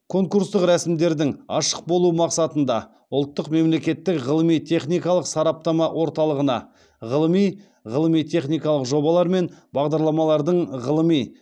конкурстық рәсімдердің ашық болуы мақсатында ұлттық мемлекеттік ғылыми техникалық сараптама орталығына ғылыми ғылыми техникалық жобалар мен бағдарламалардың ғылыми